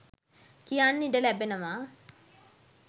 කියන්න ඉඩ ලැබෙනවා